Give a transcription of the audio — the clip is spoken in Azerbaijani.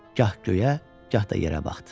Gah göyə, gah da yerə baxdı.